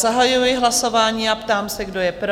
Zahajuji hlasování a ptám se, kdo je pro?